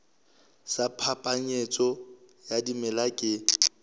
sa phapanyetso ya dimela ke